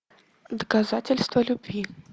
доказательство любви